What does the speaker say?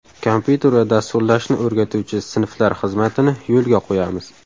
Kompyuter va dasturlashni o‘rgatuvchi sinflar xizmatini yo‘lga qo‘yamiz.